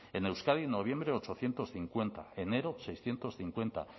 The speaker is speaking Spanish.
en euskadi en noviembre ochocientos cincuenta enero seiscientos cincuenta